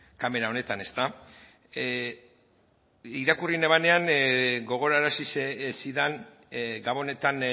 kamera honetan ezta irakurri nuenenan gogorarazi zidan gabonetan